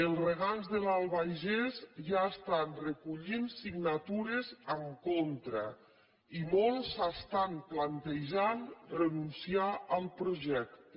els regants de l’albagés ja estan recollint signatures en contra i molts s’estan plantejant renunciar al projecte